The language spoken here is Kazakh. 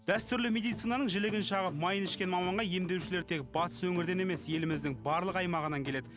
дәстүрлі медицинаның жілігін шағып майын ішкен маманға емдеушілер тек батыс өңірден емес еліміздің барлық аймағынан келеді